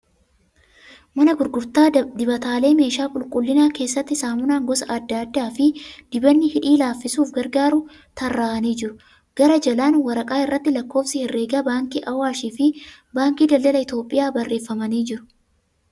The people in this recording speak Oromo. Mana gurgurtaa dibataalee meeshaa qulqullinaa keessatti saamunaan gosa adda addaa fi dibanni hidhii laaffisuuf gargaaru tarraa'anii jiru. Gara jalaan waraqaa irratti lakkoofsi herreegaa baankii Awwaash fi Baankii daldala Itiyoophiyaa barreeffamanii jiru.